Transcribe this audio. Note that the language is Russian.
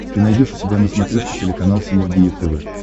ты найдешь у себя на смотрешке телеканал синергия тв